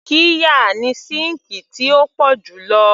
Qirya ni síǹkì tí ó pọ̀ jù lo